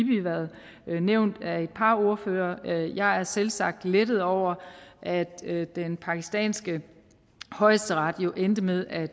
været nævnt af et par ordførere og jeg er selvsagt lettet over at den pakistanske højesteret jo endte med at